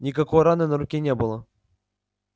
никакой раны на руке не было